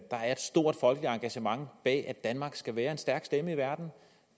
stort folkeligt engagement bag at danmark skal være en stærk stemme i verden